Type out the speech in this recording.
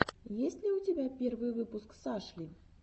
есть ли у тебя первый выпуск сашли